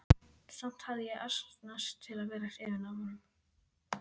Samt hafði ég asnast til að vera hrifin af honum.